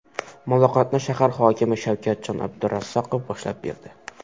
Muloqotni shahar hokimi Shavkatjon Abdurazzaqov boshlab berdi.